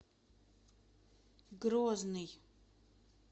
грозный